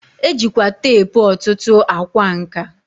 E jikwa teepu ọtụtụ a kwa nka.